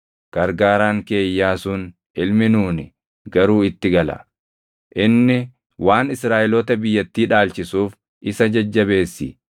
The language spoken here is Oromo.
Gargaaraan kee Iyyaasuun ilmi Nuuni garuu itti gala. Inni waan Israaʼeloota biyyattii dhaalchisuuf isa jajjabeessi.